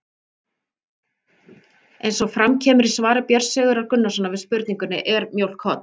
Eins og fram kemur í svari Björns Sigurðar Gunnarssonar við spurningunni Er mjólk holl?